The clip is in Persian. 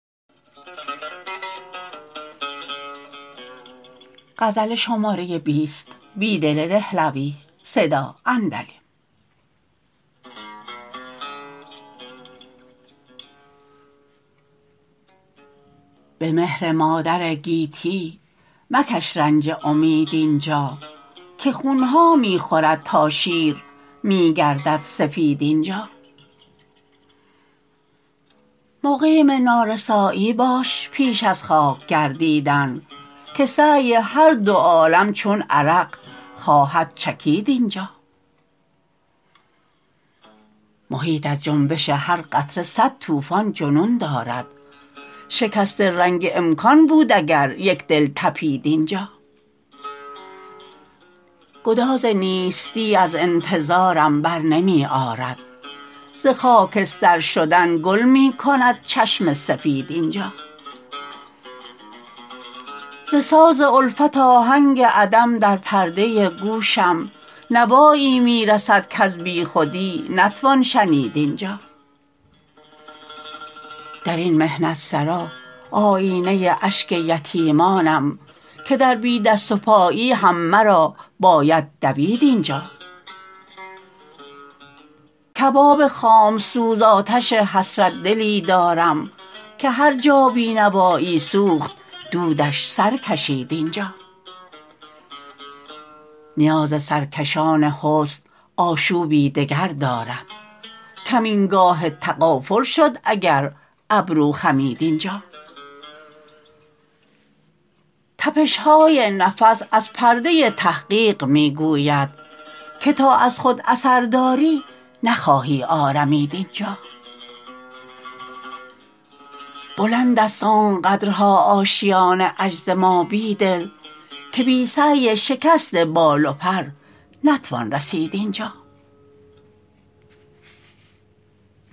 به مهر مادر گیتی مکش رنج امید اینجا که خونها می خورد تا شیر می گردد سفید اینجا مقیم نارسایی باش پیش از خاک گردیدن که سعی هر دو عالم چون عرق خواهد چکید اینجا محیط از جنبش هر قطره صد توفان جنون دارد شکست رنگ امکان بود اگر یکدل تپید اینجا گداز نیستی از انتظارم بر نمی آرد ز خاکستر شدن گل می کند چشم سفید اینجا ز ساز الفت آهنگ عدم در پرده گوشم نوایی می رسد کز بیخودی نتوان شنید اینجا درین محنت سرا آیینه اشک یتیمانم که در بی دست و پایی هم مرا باید دوید اینجا کباب خام سوز آتش حسرت دلی دارم که هرجا بینوایی سوخت دودش سرکشید اینجا نیاز سرکشان حسن آشوبی دگر دارد کمین گاه تغافل شد اگر ابرو خمید اینجا تپشهای نفس از پرده تحقیق می گوید که تا از خود اثر داری نخواهی آرمید اینجا بلندست آنقدرها آشیان عجز ما بیدل که بی سعی شکست بال و پر نتوان رسید اینجا